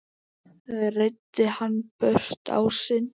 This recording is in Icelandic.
Reiddi hann burt ásinn.